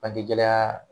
Bange gɛlɛya